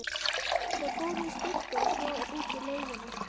Þeir fóru í sturtu og svo út í laugina.